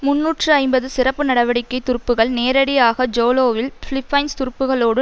முன்னூற்று ஐம்பதுசிறப்பு நடவடிக்கை துருப்புகள் நேரடியாக ஜோலோவில் பிலிப்பைன்ஸ் துருப்புகளோடு